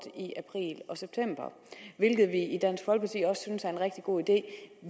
i april og september hvilket vi i dansk folkeparti også synes er rigtig god idé